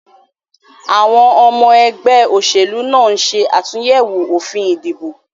Àwon omo egbé òsèlú náà nse àtúyèwò òfin ìdìbò